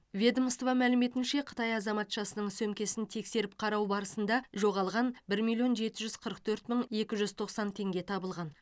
ведомство мәліметінше қытай азаматшасының сөмкесін тексеріп қарау барысында жоғалған бір миллион жеті жүз қырық төрт мың екі жүз тоқсан теңге табылған